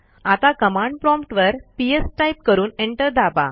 आता command prompt वर PS type करून एंटर दाबा